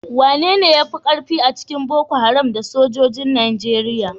Wanene ya fi karfi a cikin Boko Haram da sojojin Najeriya?